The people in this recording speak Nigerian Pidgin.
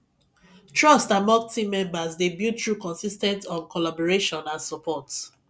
trust among team members dey build through consis ten t um collaboration and support